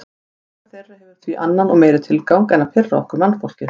Tilvera þeirra hefur því annan og meiri tilgang en að pirra okkur mannfólkið.